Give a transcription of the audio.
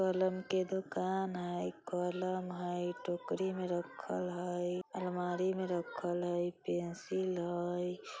कलम के दुकान हय कलम हय टोकरी में रखल हय अलमारी में रखल हय पेंसिल हय।